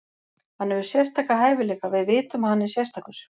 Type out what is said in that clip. Hann hefur sérstaka hæfileika, við vitum að hann er sérstakur.